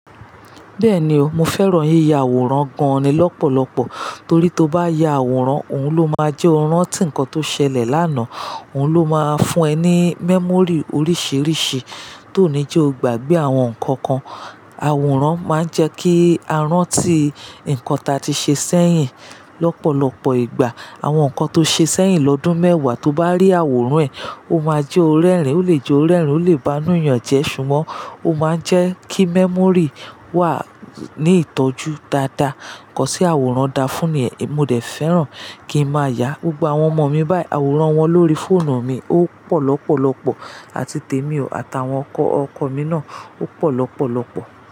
Bẹ́ẹ̀ni o, mo fẹ́ràn yíya àwòrán gan-an ni lọ́pọ̀lọpọ̀. Torí tí o bá ya àwòrán, òun ló máa jẹ́ orán tí nǹkan tó ṣẹlẹ̀ lánàá, òun ló máa fún ẹ ní memory oríṣiríṣi tó ní jẹ́ o gbàgbé àwọn nǹkan kan. Àwòrán máa ń jẹ́ kí a rántí nǹkan tí a ti ṣe sẹ́yìn lọ́pọ̀lọpọ̀ ìgbà. Àwọn nǹkan tó ṣe sẹ́yìn lọ́dún mẹ́wàá tó bá rí àwòrán ẹ̀, ó máa jẹ́ o rẹ́ rìín ó lè jẹ́ o rẹ́ rìín, ó lè banúyanjẹ ṣùgbọ́n ó máa ń jẹ́ kí memory wà ní ìtọ́jú dáadáa. Nǹkan tí àwòrán dá fún ni yẹn, mo dẹ̀ fẹ́ràn kí n máa yá gbogbo àwọn ọmọ mi báyìí, àwòrán wọn lórí fóònù mi ó pọ̀ lọ́pọ̀lọpọ̀, àti tèmi o, àtàwọn ọkọ ọkọ mi náà ó pọ̀ lọ́pọ̀lọpọ̀.